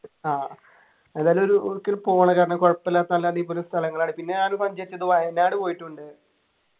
ആഹ് എന്തായാലും ഒരു ഒരിക്കല് പോണം കാരണം കുഴപ്പില്ലാത്ത നല്ല അടിപൊളി സ്ഥലങ്ങളാണ് പിന്നെ ഞാന് സഞ്ചരിച്ചത് വയനാട് പോയിട്ടുണ്ട്